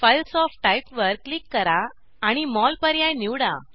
files of type वर click करा आणि मोल पर्याय निवडा